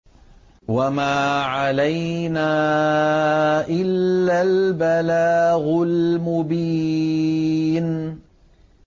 وَمَا عَلَيْنَا إِلَّا الْبَلَاغُ الْمُبِينُ